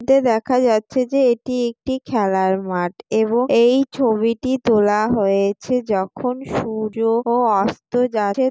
এতে দেখা যাচ্ছে যে এটি একটি খেলার মাঠ এবং এই ছবিটি তোলা হয়েছে যখন সূর্য ও অস্ত যাচ্ছে--